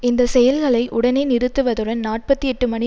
இந்த செயல்களை உடனே நிறுத்துவதுடன் நாற்பத்தி எட்டு மணி